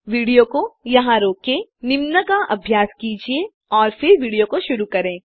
video को यहाँ रोकें निम्न का अभ्यास कीजिये और फिर विडियो शुरू करें